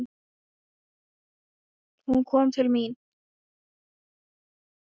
Hún kom til mín.